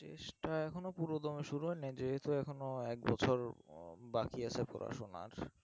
চেষ্টা এখনো পুরো দমে শুরু হয় নি যেহেতু এখনো এক বছর আহ বাকি আছে পড়াশোনার